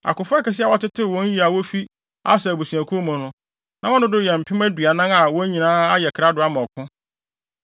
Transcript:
Akofo akɛse a wɔatetew wɔn yiye a wofi Aser abusuakuw mu no, na wɔn dodow yɛ mpem aduanan (40,000) a wɔn nyinaa ayɛ krado ama ɔko.